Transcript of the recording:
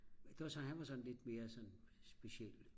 men der så han var sådan lidt mere speciel